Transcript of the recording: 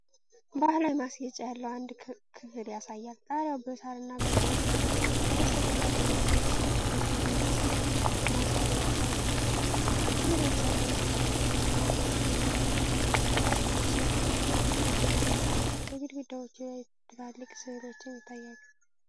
ባህላዊ ማስጌጫ ያለው አንድ ክፍል ያሳያል። ጣሪያው በሳርና በሥዕሎች ያጌጠ ነው። ከበስተጀርባ በገለባ የተሠሩ ጎጆ የሚመስሉ ማስዋቢያዎች አሉ። ክፍሉ በብዙ የእንጨት ጠረጴዛዎችና ወንበሮች እንዲሁም በቆዳ ሶፋዎች የተሞላ ነው። በግድግዳዎች ላይ ትላልቅ ሥዕሎችም ይታያሉ።